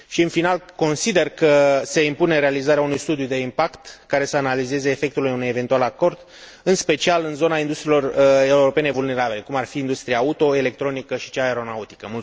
Și, în final, consider că se impune realizarea unui studiu de impact, care să analizeze efectele unui eventual acord, în special în zona industriilor europene vulnerabile, cum ar fi industria auto, electronică și cea aeronautică.